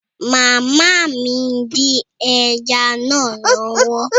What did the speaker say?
Màmá mi ń dín ẹja náà lọ́wọ́